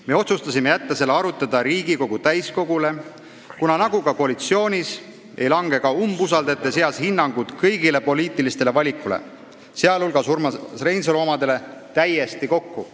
Me otsustasime jätta selle arutada Riigikogu täiskogule, kuna nii nagu koalitsioonis, ei lange ka umbusaldajate seas hinnangud kõigile poliitilistele valikutele, sh Urmas Reinsalu omadele, täiesti kokku.